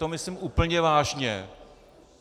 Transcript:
To myslím úplně vážně.